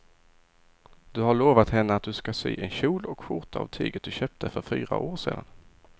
Du har lovat henne att du ska sy en kjol och skjorta av tyget du köpte för fyra år sedan.